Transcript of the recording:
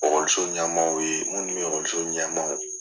ɲɛmaaw ye minnu ye ɲɛmaaw